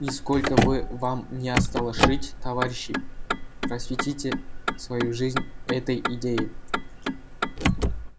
и сколько вы вам ни осталось жить товарищи просветите свою жизнь этой идее